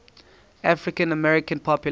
african american population